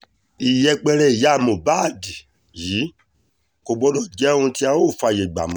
ìyẹpẹrẹ ìyá mohbad yìí kò gbọ́dọ̀ jẹ́ ohun tí a óò fààyè gbà mọ́